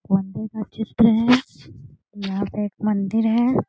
का चित्र है यहाँ पे एक मंदिर है।